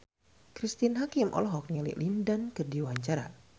Cristine Hakim olohok ningali Lin Dan keur diwawancara